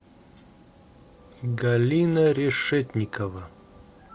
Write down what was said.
галина решетникова